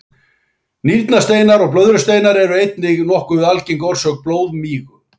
Nýrnasteinar og blöðrusteinar eru einnig nokkuð algeng orsök blóðmigu.